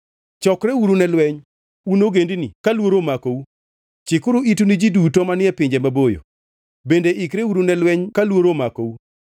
Chokreuru ne lweny, un ogendini, ka luoro omakou! Chikuru itu un ji duto manie pinje maboyo! Bende ikreuru ne lweny ka luoro omakou! Bende ikreuru ne lweny ka luoro omakou!